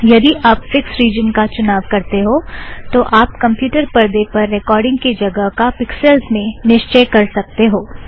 यदी आप fixed region का चुनाव करते हो तो आप कमप्युटर परदे पर रेकॉर्ड़िंग की जगह का पिकसॅल्स में निश्चय कर सकते हो